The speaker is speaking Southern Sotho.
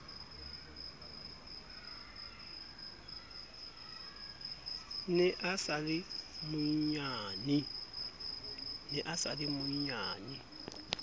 ne a sa le monnyane